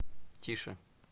тише